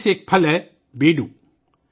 ان میں سے ایک پھل ہے بیڑو